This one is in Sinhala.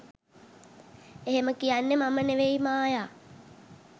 එහෙම කියන්නෙ මම නෙමෙයි ‘මායා’.